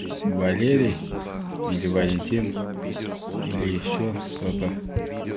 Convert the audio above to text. валерий или валентин или ещё что-то